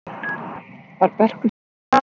Var Börkur settur af eða hætti hann sjálfur?